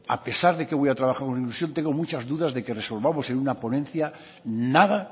a pesar de que voy a trabajar con ilusión tengo muchas dudas de que resolvamos en una ponencia nada